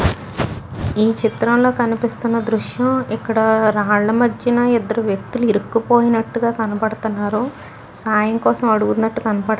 ఈచిత్రంలో కనిపిస్తున్న దృశ్యం ఇక్కడ రాళ్ళ మధ్యన ఇద్దరు వ్యక్తులు ఇర్రకు పోయినట్టుగా కనపడుతున్నారు సాయంకోసం అడుగుతునాటు కనపడుతు --